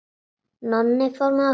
Nonni fór með okkur.